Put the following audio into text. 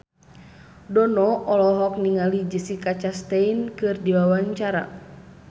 Dono olohok ningali Jessica Chastain keur diwawancara